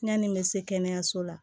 Yanni n bɛ se kɛnɛyaso la